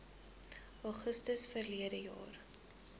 augustus verlede jaar